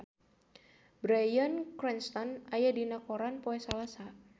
Bryan Cranston aya dina koran poe Salasa